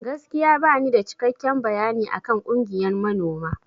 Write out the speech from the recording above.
Gaskiya banida cikekken bayani akan ƙungiyan manoma.